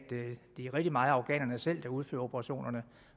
det rigtig meget er afghanerne selv der udfører operationerne